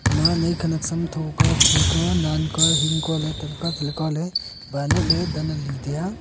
manai khanak sam tho kua khi kua nan kua hing kya teley kua teley kualey bilotley tanali taiya.